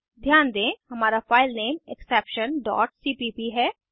ध्यान दें हमारा फाइलनेम exceptionसीपीप है